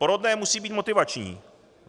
Porodné musí být motivační.